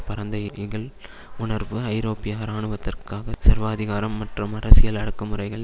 பரந்த இகழ் வுணர்வு ஐரோப்பியா இராணுவத்திற்காக சர்வாதிகாரம் மற்றும் அரசியல் அடக்குமுறைகள்